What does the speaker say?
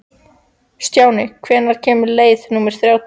Stjáni, hvenær kemur leið númer þrjátíu?